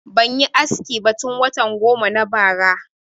Ban yi aski ba tun watan goma na bara